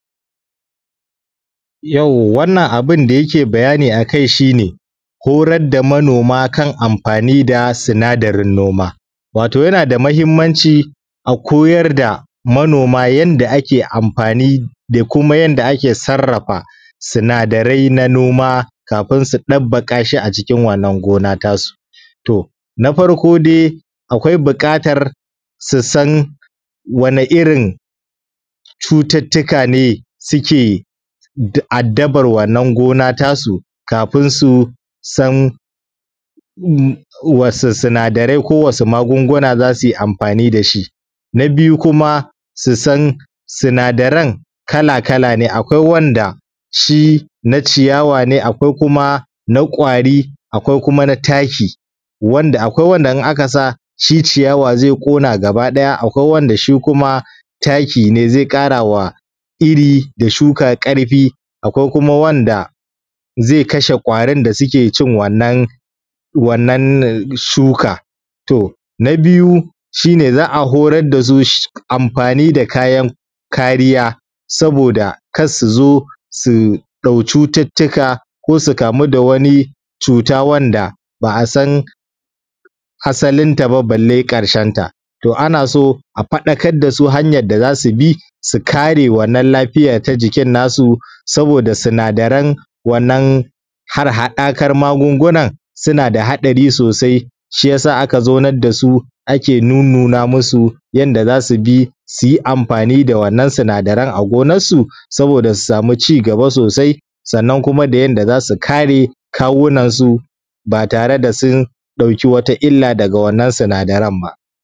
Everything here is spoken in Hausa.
To, wannan abin da yake bayani a kai shi ne, horar da manoma kan amfani da sinadarin noma. Wato yana da mahimmanci a koyar da manoma yanda ake amfani da kuma yanda ake sarrafa sinadarai na noma kafin su ɗabbaƙa shi acikin wannan gona ta su. To, na farko dai akwai buƙatar su san wani irin cututtuka ne suke addabar wannan gona ta su kafin su san wasu sinadarai ko wasu magunguna za su yi amfani da shi. Na biyu kuma su san sinadaran kala-kala ne, akwai wanda shi na ciyawa ne akwai kuma na ƙwari, akwai kuma na taki, akwai kuma wanda in aka sa shi ciyawa zai ƙona gaba ɗaya, akwai wanda shi kuma taki ne zai ƙarawa iri da shuka ƙarfi, akwai kuma wanda zai kashe ƙwarin da suke cin wannan, wannan shuka. To na biyu, shi ne za a horar da su amfani da kayan kariya saboda kar su zo su ɗau cututtuka ko su kamu da wani cuta wanda ba a san asalinta ba balle ƙarshenta. To, ana so a faɗakar da su hanyar da za su bi su kare wannan lafiya ta jikin nasu saboda sinadaran wannan harhaɗakan magungunan suna da haɗari sosai shiyasa aka zaunar da su ake nunnuna musu yanda za su bi su yi amfani da wannan sinadaran a gonansu saboda su samu cigaba sosai, sannan kuma da yanda za su kare kawunan su ba tare da sun ɗauki wata illa daga wannan sinadaran ba.